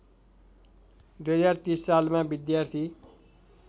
२०३० सालमा विद्यार्थी